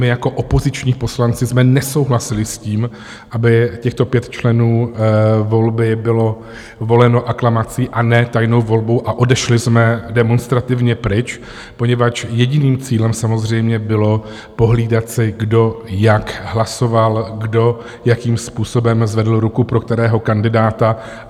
My jako opoziční poslanci jsme nesouhlasili s tím, aby těchto pět členů volby bylo voleno aklamací a ne tajnou volbou, a odešli jsme demonstrativně pryč, poněvadž jediným cílem samozřejmě bylo pohlídat si, kdo jak hlasoval, kdo jakým způsobem zvedl ruku pro kterého kandidáta.